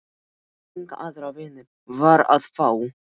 Enga aðra vinnu var að fá.